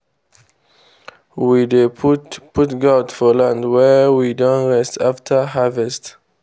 we dey put put goat for land wey we don rest after harvest